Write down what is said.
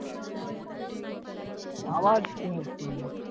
আবার কি massage করলে?